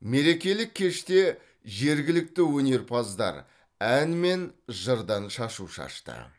мерекелік кеште жергілікті өнерпаздар ән мен жырдан шашу шашты